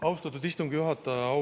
Austatud istungi juhataja!